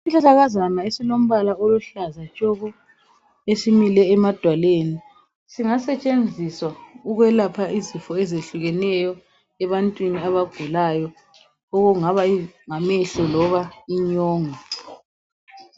Isihlahlakazana esilombala oluhlaza tshoko esimile emadwaleni singasetshenziswa ukwelapha izifo ezehlukeneyo ebantwini abagulayo kungaba ngamehlo loba inyongo.